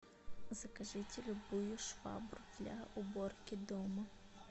закажите любую швабру для уборки дома